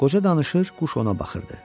Qoca danışır, quş ona baxırdı.